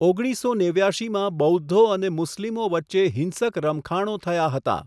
ઓગણીસસો નેવ્યાશીમાં બૌદ્ધો અને મુસ્લિમો વચ્ચે હિંસક રમખાણો થયા હતા.